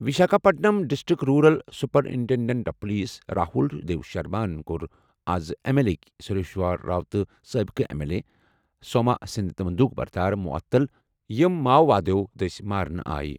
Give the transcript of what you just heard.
Visakhapatnam district rural superintendent of police Rahul دیوشرماہن کوٚر آز M L A K Sarveshwar Rao تہٕ سٲبقہٕ ایم ایل اے ایلس سوما سٕنٛدۍ بندوٗق بردار معطل یِم ماؤوادَو دٔسۍ مارنہٕ آیہِ۔